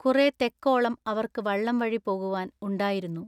കുറെ തെക്കോളം അവർക്ക് വള്ളം വഴി പോകുവാൻ ഉണ്ടായിരുന്നു.